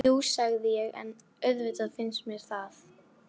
Jú, sagði ég, auðvitað finnst mér það